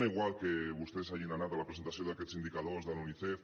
és igual que vostès hagin anat a la presentació d’aquests indicadors de la unicef